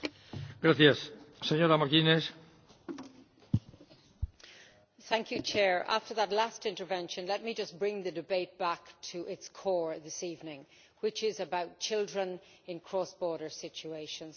Mr President, after that last intervention, let me just bring the debate back to its core this evening, which is about children in cross border situations.